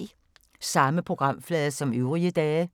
Samme programflade som øvrige dage